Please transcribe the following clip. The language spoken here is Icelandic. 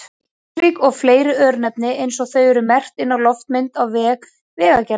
Kleppsvík og fleiri örnefni eins og þau eru merkt inn á loftmynd á vef Vegagerðarinnar.